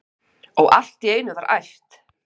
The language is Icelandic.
Og allt í einu var æpt: